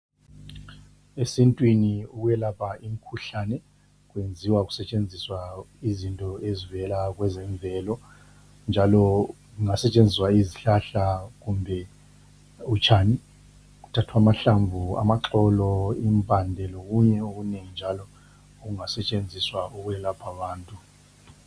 Esintwini ukwelapha imikhuhlane kwenziwa kusetshenziswa izonto ezivela kwezemvelo njalo kungasetshenziswa izihlahla, kumbe utshani kuthathwe amahlamvu, amaxolo, impande lokunye okunengi njalo okungasetshenziswa ukwelapha abantu.